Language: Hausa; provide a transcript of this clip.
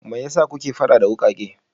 Me ya sa kuke faɗa da wukake?